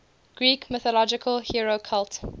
greek mythological hero cult